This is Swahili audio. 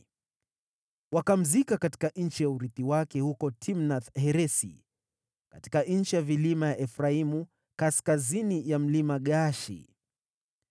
Wakamzika katika nchi ya urithi wake, huko Timnath-Heresi katika nchi ya vilima ya Efraimu, kaskazini ya Mlima Gaashi.